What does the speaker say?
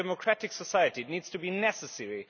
In a democratic society, it has to be necessary.